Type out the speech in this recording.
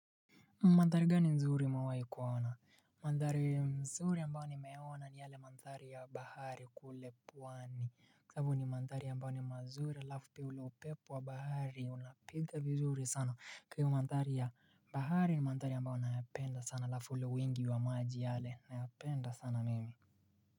Madhari gani mzuri umewai kuona. Mandhari mzuri ambao nimeona ni yale mandhari ya bahari kule pwani. Kwa sababu ni mandhari ambao ni mazuri alafu kuna upepo wa bahari una piga vizuri sana. Ikiwa madhari ya bahari ni madhari ambao nayapenda sana alafu ule wingi wa maji yale nayapenda sana mimi.